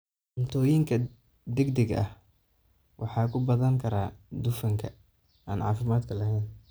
Cuntooyinka degdega ahi waxa ay ku badan karaan dufanka aan caafimaadka lahayn.